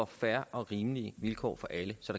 fair og rimelige vilkår for alle så